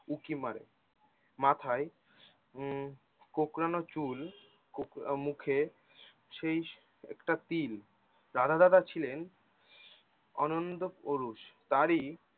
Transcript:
উঁকি মারে মাথায় উম কোঁকড়ানো চুল কোঁকড়া মুখে সেই একটা তিল রাধা দাদা ছিলেন অনন্দ ওরুস তারি